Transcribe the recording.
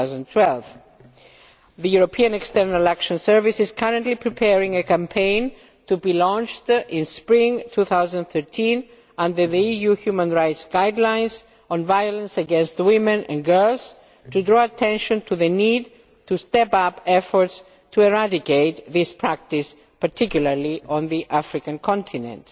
2012. The European External Action Service is currently preparing a campaign to be launched in spring 2013 under the EU Human Rights guidelines on violence against women and girls to draw attention to the need to step up efforts to eradicate this practice, particularly on the African continent.